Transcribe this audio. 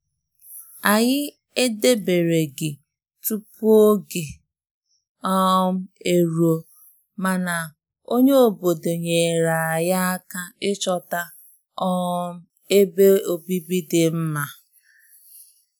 Anyị edebereghị tupu oge um eruo, mana onye obodo nyere anyị aka ịchọta um ebe obibi dị mma.